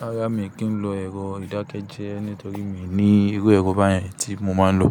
Rárá, mi kì í lo ẹ̀rọ ìdákẹ́jẹ́ nítorí mi ní irú ẹ̀rọ báyẹn tí mo máa ń lò.